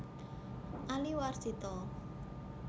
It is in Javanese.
Ali Warsito